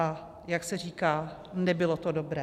A jak se říká, nebylo to dobré.